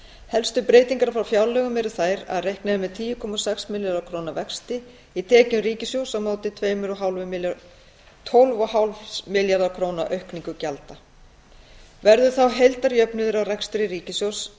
helstu breytingar frá fjárlögum eru þær að reiknað er með tíu komma sex milljarða króna vexti í tekjum ríkissjóðs á móti tólf komma fimm milljarða króna aukningu gjalda verður þá heildarjöfnuður á rekstri ríkissjóðs